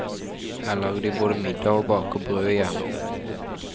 Her lager de både middag og baker brød i jernovn.